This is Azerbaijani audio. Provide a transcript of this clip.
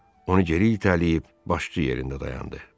Onu geri itələyib başçı yerində dayandı.